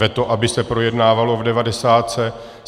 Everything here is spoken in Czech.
Veto, aby se projednávalo v devadesátce.